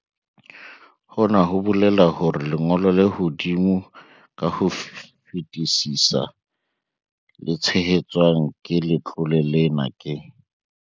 Hona ho bolela hore lengo lo le hodimo ka ho fetisisa le tshehetswang ke letlole lena ke.